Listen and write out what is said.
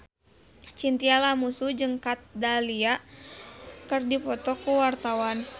Chintya Lamusu jeung Kat Dahlia keur dipoto ku wartawan